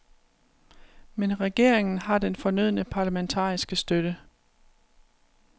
Men regeringen har den fornødne parlamentariske støtte.